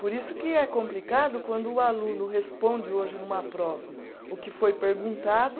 Por isso que é complicado quando o aluno responde hoje numa prova o que foi perguntado,